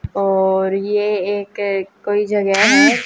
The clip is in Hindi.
और ये एक कोई जगह है।